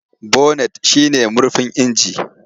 Bonet shi ne murfin inji.